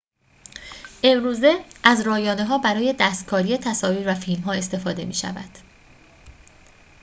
امروزه از رایانه‌ها برای دستکاری تصاویر و فیلم‌ها استفاده می‌شود